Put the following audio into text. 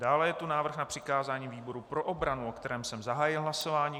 Dále je tu návrh na přikázání výboru pro obranu, o kterém jsem zahájil hlasování.